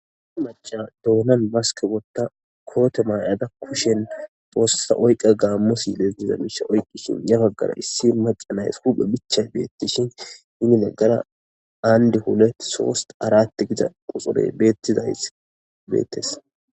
maca doonan baske wotta koote maay7ada kushen foossa oyqa gaammosi leestiza bisha oyqqishin yabaggara issi macanays huphe bichay beettishin hini naggara aandi hulet soost aratti gida quxoley beettes